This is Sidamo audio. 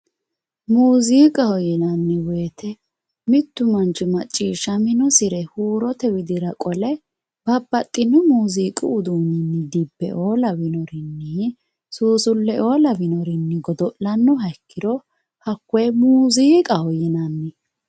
muuziiqaho yineemmo woyte mittu manchi maciishshaminosire huurote widira qole babbaxino muziiqu uduunne dibbeoo lawinore suusulleoo lawinore godo'lanno manchooti hakkoye muziiqaho yinanni